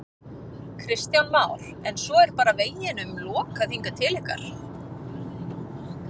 Kristján Már: En svo er bara veginum lokað hingað til ykkar?